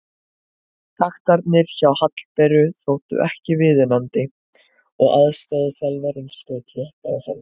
Taktarnir hjá Hallberu þóttu ekki viðunandi og aðstoðarþjálfarinn skaut létt á hana.